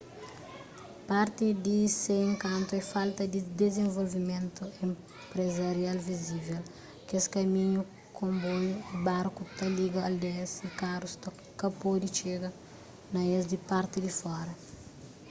parti di se enkantu é falta di dizenvolvimentu enprezarial vizivel kes kaminhu konboiu y barku ta liga aldeias y karus ka pode txiga na es di parti di fora